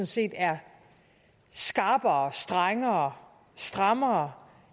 set er skrappere strengere og strammere